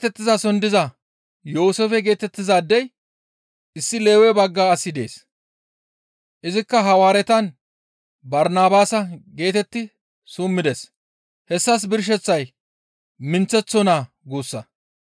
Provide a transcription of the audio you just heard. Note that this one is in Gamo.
Qophiroose geetettizason diza Yooseefe geetettizaadey issi Lewe bagga asi dees; izikka Hawaaretan, «Barnabaasa» geetetti summides. Hessas birsheththay, «Minththeththo naa» guussa.